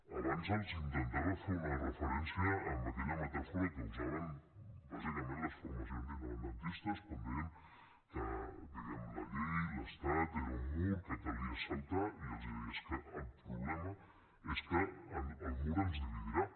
abans els intentava fer una referència amb aquella metàfora que usaven bàsicament les formacions independentistes quan deien que diguem ne la llei l’estat era un mur que calia saltar i els deia que el problema és que el mur ens dividirà